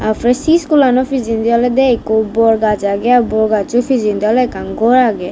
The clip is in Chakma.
si iskulano pijendi olodey ikko bor gaaj agey bor gajjo pijendi oley ekkan gor agey.